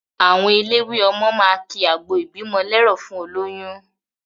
Àwọn elelwé ọmọ máa ki àgbọ ìbímọ lẹ́rọ̀ fún olóyún.